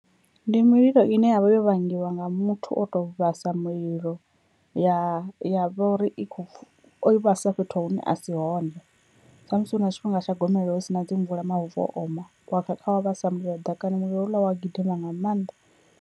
Ndi mililo ine yavha yo vhangiwa nga muthu o to vhasa mulilo ya ya vha uri i kho pfhu oi vhasa fhethu hune a si hone, sa musi hu na tshifhinga tsha gomelelo hu si na dzi mvula mavu o oma wa kha wa vhasa mulilo ḓakani mulilo houḽa wa gidima nga maanḓa.